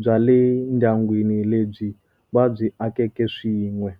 bya le ndyangwini lebyi vabyi akeke swin'we.